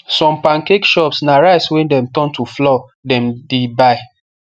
some pancake shops na rice wey dem turn to flour them the buy